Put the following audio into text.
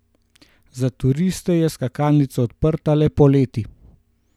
Za turiste je skakalnica odprta le poleti.